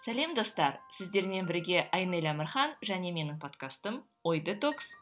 сәлем достар сіздермен бірге айнель әмірхан және менің подкастым ой детокс